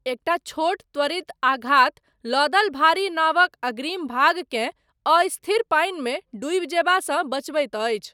एकटा छोट त्वरित आघात, लदल भारी नावक अग्रिम भागकेँ, अस्थिर पानिमे डूबि जयबासँ बचबैत अछि।